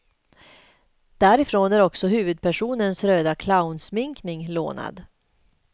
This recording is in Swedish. Därifrån är också huvudpersonens röda clownsminkning lånad.